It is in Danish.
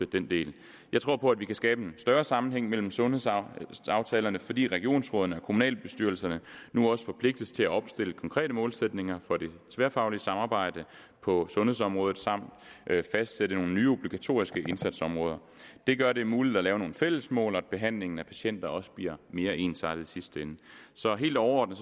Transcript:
den del jeg tror på at vi kan skabe en større sammenhæng mellem sundhedsaftalerne fordi regionsrådene og kommunalbestyrelserne nu også forpligtes til at opstille konkrete målsætninger for det tværfaglige samarbejde på sundhedsområdet samt fastsætte nogle nye obligatoriske indsatsområder det gør det muligt at lave nogle fællesmål og at behandlingen af patienter også bliver mere ensartet i sidste ende så helt overordnet